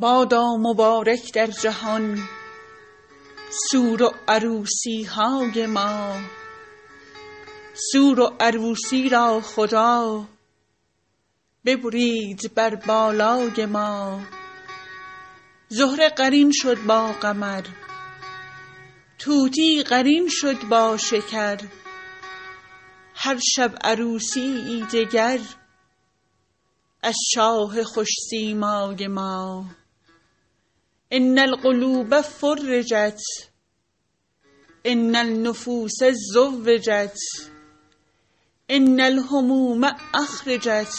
بادا مبارک در جهان سور و عروسی های ما سور و عروسی را خدا ببرید بر بالای ما زهره قرین شد با قمر طوطی قرین شد با شکر هر شب عروسی یی دگر از شاه خوش سیمای ما ان القلوب فرجت ان النفوس زوجت ان الهموم اخرجت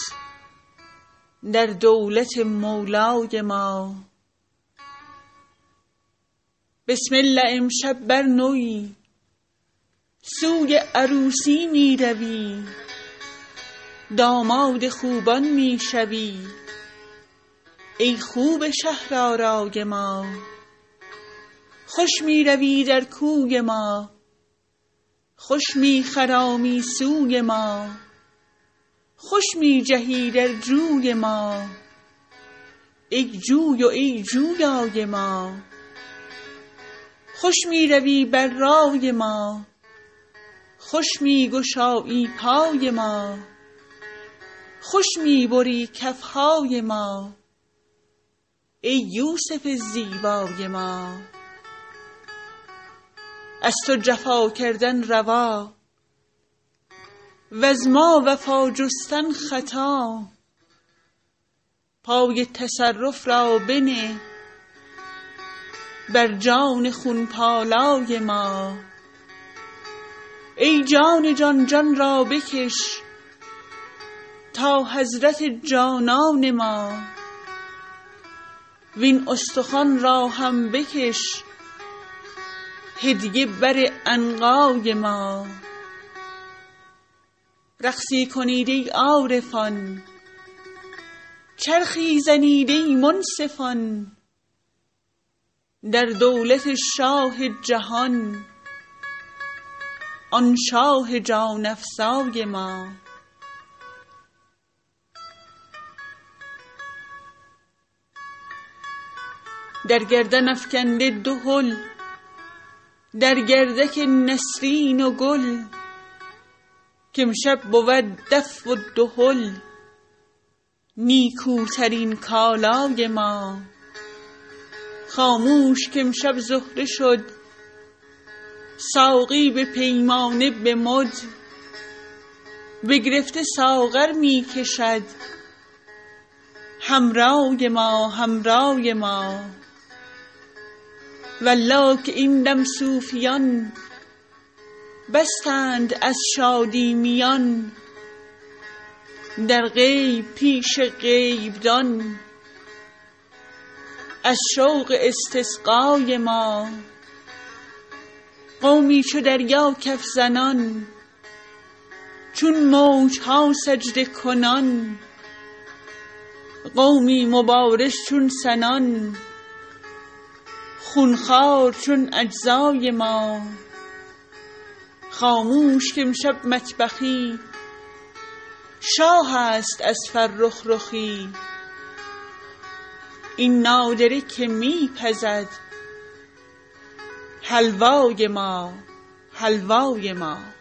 در دولت مولای ما بسم الله امشب بر نوی سوی عروسی می روی داماد خوبان می شوی ای خوب شهرآرای ما خوش می روی در کوی ما خوش می خرامی سوی ما خوش می جهی در جوی ما ای جوی و ای جویای ما خوش می روی بر رای ما خوش می گشایی پای ما خوش می بری کف های ما ای یوسف زیبای ما از تو جفا کردن روا وز ما وفا جستن خطا پای تصرف را بنه بر جان خون پالای ما ای جان جان جان را بکش تا حضرت جانان ما وین استخوان را هم بکش هدیه بر عنقای ما رقصی کنید ای عارفان چرخی زنید ای منصفان در دولت شاه جهان آن شاه جان افزای ما در گردن افکنده دهل در گردک نسرین و گل که امشب بود دف و دهل نیکوترین کالای ما خاموش که امشب زهره شد ساقی به پیمانه و به مد بگرفته ساغر می کشد حمرای ما حمرای ما والله که این دم صوفیان بستند از شادی میان در غیب پیش غیبدان از شوق استسقای ما قومی چو دریا کف زنان چون موج ها سجده کنان قومی مبارز چون سنان خون خوار چون اجزای ما خاموش که امشب مطبخی شاهست از فرخ رخی این نادره که می پزد حلوای ما حلوای ما